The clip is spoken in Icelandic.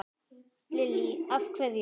Lillý: Af hverju?